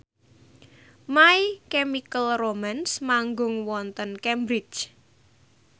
My Chemical Romance manggung wonten Cambridge